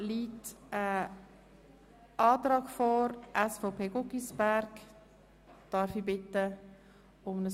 Wer den Antrag von Regierungsrat und BaK annehmen will, stimmt Ja,